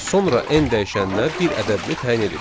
Sonra N dəyişəninə bir ədədini təyin edirik.